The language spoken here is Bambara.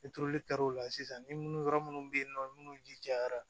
I turuli kɛr'o la sisan ni munnu yɔrɔ munnu be yen nɔ munnu jijara